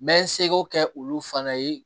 N bɛ n seko kɛ olu fana ye